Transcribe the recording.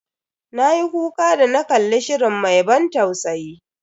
Na yi kuka da na kalli shirin mai ban tausayi.